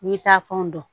N'i taa fɛnw don